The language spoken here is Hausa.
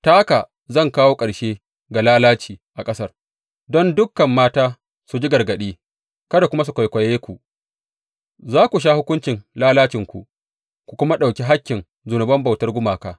Ta haka zan kawo ƙarshe ga lalaci a ƙasar, don dukan mata su ji gargaɗi kada kuma su kwaikwaye ku Za ku sha hukuncin lalacinku ku kuma ɗauki hakkin zunuban bautar gumaka.